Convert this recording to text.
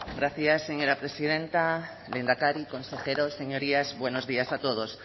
gracias señora presidenta lehendakari consejeros señorías buenos días a todos